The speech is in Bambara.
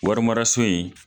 Warimaraso in